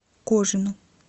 кожину